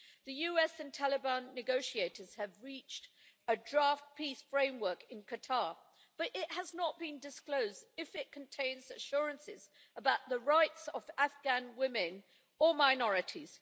The US and Taliban negotiators have reached a draft peace framework in Qatar, but it has not been disclosed if it contains assurances about the rights of Afghan women or minorities.